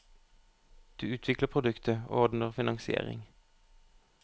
Du utvikler produktet, og ordner finansiering.